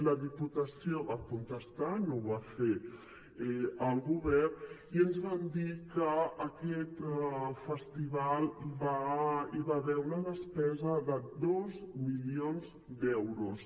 la diputació va contestar no ho va fer el govern i ens van dir que a aquest festival hi va haver una despesa de dos milions d’euros